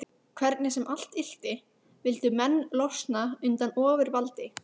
Hvernig sem allt ylti vildu menn losna undan ofurvaldi